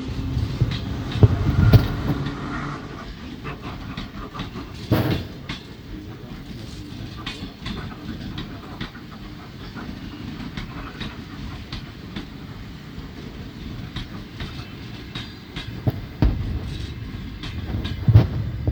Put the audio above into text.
Noisy place and no recording